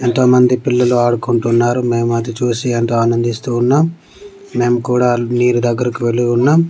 ఎంతో మంది పిల్లలు ఆడుకుంటున్నారు మేము అది చూసి ఎంతో ఆనందిస్తూ ఉన్నాం మేం కుడా నీరు దగ్గరికి వెళ్లి ఉన్నాం.